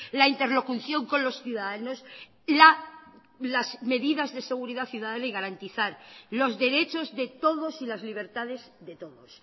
la interlocución con los ciudadanos las medidas de seguridad ciudadana y garantizar los derechos de todos y las libertades de todos